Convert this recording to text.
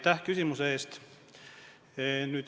Aitäh küsimuse eest!